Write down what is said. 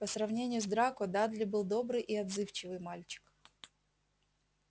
по сравнению с драко дадли был добрый и отзывчивый мальчик